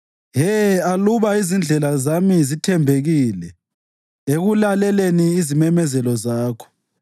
He, aluba izindlela zami zithembekile ekulaleleni izimemezelo zakho!